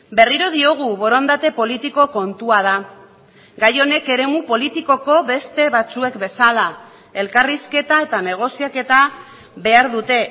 berriro diogu borondate politiko kontua da gai honek eremu politikoko beste batzuek bezala elkarrizketa eta negoziaketa behar dute